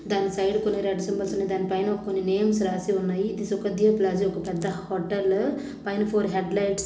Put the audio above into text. దాని సైడ్ కొన్ని red symbols సన్నాయి దాని పైన కొన్ని నేమ్స్ రాసి ఉన్నాయి సుఖ్దేవ్ పాలస్ ఇది ఒక పెద్ద హోటల్ పైన ఫోర్ హెడ్ లైట్స్--